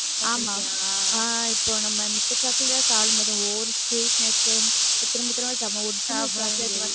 ஆமா ஆஹ் இப்ப நம்ம மித்த chocolate எல்லாம் சாப்பிடும்போது ஒவ்வொரு sweetness திரும்ப திரும்ப